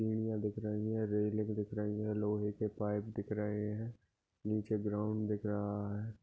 सिडीया दिख रही है रेलिंग दिख रही है लोहे के पाईप दिख रहे है नीचे ग्राउंड दिख रहा है।